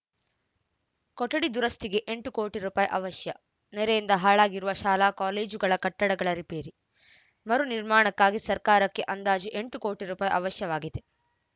ಕೊಠಡಿ ದುರಸ್ತಿಗೆ ಎಂಟು ಕೋಟಿ ರು ಅವಶ್ಯ ನೆರೆಯಿಂದ ಹಾಳಾಗಿರುವ ಶಾಲಾಕಾಲೇಜುಗಳ ಕಟ್ಟಡಗಳ ರಿಪೇರಿ ಮರು ನಿರ್ಮಾಣಕ್ಕಾಗಿ ಸರ್ಕಾರಕ್ಕೆ ಅಂದಾಜು ಎಂಟು ಕೋಟಿ ರೂಪಾಯಿ ಅವಶ್ಯವಾಗಿದೆ